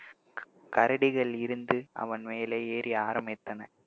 கரடிகள் இருந்து அவன் மேலே ஏறி ஆரம்பித்தன